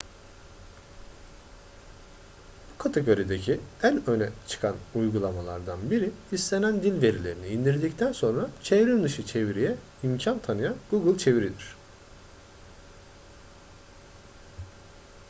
bu kategorideki en öne çıkan uygulamalardan biri istenen dil verilerini indirdikten sonra çevrimdışı çeviriye imkan tanıyan google çeviri'dir